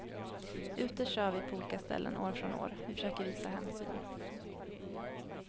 Ute kör vi på olika ställen år från år, vi försöker visa hänsyn.